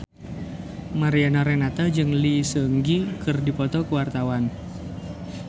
Mariana Renata jeung Lee Seung Gi keur dipoto ku wartawan